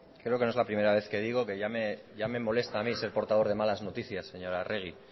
creo que no es la primera vez que digo que ya me molesta a mí ser portador de malas noticias señora arregi